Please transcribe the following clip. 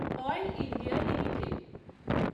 oil India limited